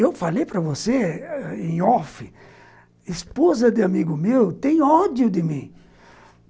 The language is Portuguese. Eu falei para você em off, esposa de amigo meu tem ódio de mim.